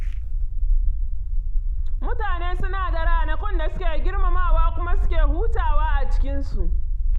Mutane suna da ranakun da suke girmamawa kuma suke hutawa a cikinsu.